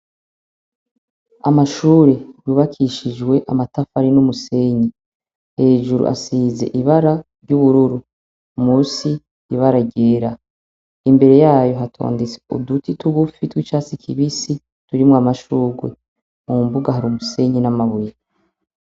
Amashure yubakishijwe amatafari n'umusenyi hejuru asize ibara ry'ubururu munsi ibara ryera imbere yaho hatondetse uduti tugufi tw'icatsi kibisi turimwo amashurwe. Ku mbuga hari umusenyi n'amabuye.